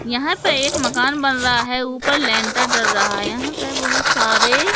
यहां पे एक मकान बन रहा है ऊपर लेंटर डल रहा है यहां पे बहोत सारे--